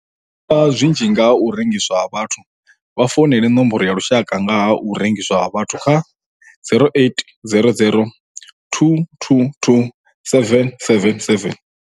U ḓivha zwinzhi nga ha u rengiswa ha vhathu vha founele Nomboro ya Lushaka nga ha u rengiswa ha vhathu kha 0800 222 777.